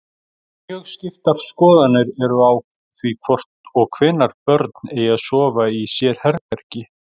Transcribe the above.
Mjög skiptar skoðanir eru á því hvort og hvenær börn eigi að sofa í sérherbergi.